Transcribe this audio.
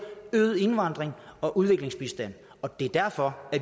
øget indvandring og udviklingsbistand og det er derfor